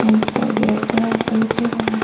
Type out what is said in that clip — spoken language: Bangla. আরেকটা গেট দেওয়া আছে ইঁট-এর ও ম--